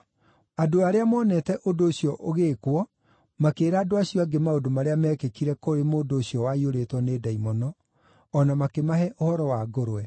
Andũ arĩa moonete ũndũ ũcio ũgĩĩkwo makĩĩra andũ acio angĩ maũndũ marĩa mekĩkire kũrĩ mũndũ ũcio waiyũrĩtwo nĩ ndaimono, o na makĩmahe ũhoro wa ngũrwe.